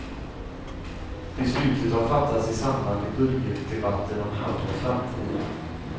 Beslutet har fattats i samband med budgetdebatten om hamnens framtid.